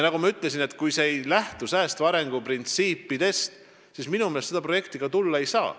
Nagu ma ütlesin, kui selle projekti puhul ei lähtuta säästva arengu printsiipidest, siis seda tulla ei saa.